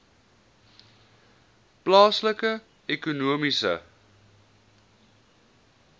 plaaslike ekonomiese